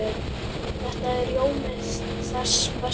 Þetta er rjómi þess besta.